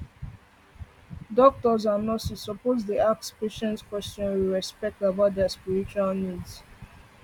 doctors and nurses suppose dey ask patients question with respect with respect about their spiritual needs